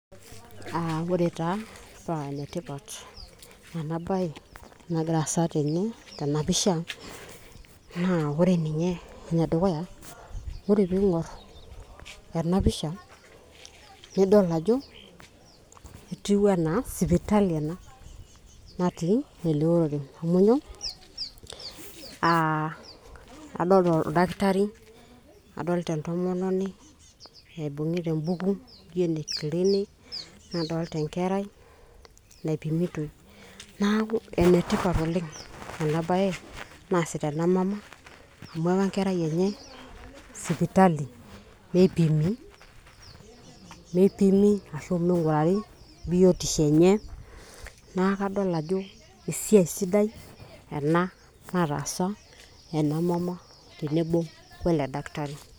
uh, ore taa paa enetipat ena baye nagira aasa tene tenapisha, naa ore ninye enedukuya ore piing'orr ena pisha nidol ajo etiu enaa sipitali ena natii ele orere amu nyoo?uh, adolta oldakitari adolta entomononi naibung'ita embuku naji ene clinic nadolta enkerai naipimitoi naaku enetipat oleng' ena baye naasita ena mama amu ewa enkerai enye sipitali meipimi, meipimi ashu ming'urari biotiosho enye naa kadol ajo esiai sidai ena nataasa ena mama tenebo wele daktari.